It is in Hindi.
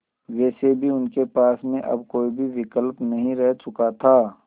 वैसे भी उनके पास में अब कोई भी विकल्प नहीं रह चुका था